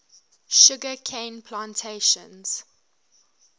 sugar cane plantations